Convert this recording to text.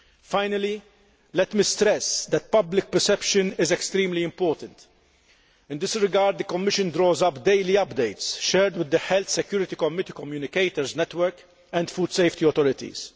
Finally, let me stress that public perception is extremely important. In this regard, the Commission draws up daily updates, shared with the Health Security Committee communicators' network and food safety authorities.